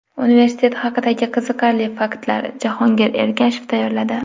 Universitet haqidagi qiziqarli faktlar: Jahongir Ergashev tayyorladi.